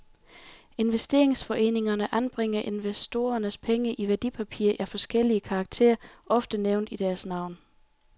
Investeringsforeningerne anbringer investorernes penge i værdipapirer af forskellig karakter, ofte nævnt i deres navn.